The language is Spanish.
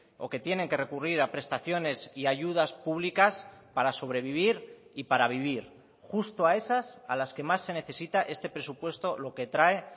o que tienen que recurrir a prestaciones y ayudas públicas para sobrevivir y para vivir justo a esas a las que más se necesita este presupuesto lo que trae